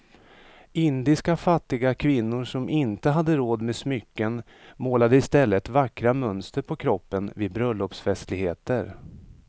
Indiska fattiga kvinnor som inte hade råd med smycken målade i stället vackra mönster på kroppen vid bröllopsfestligheter.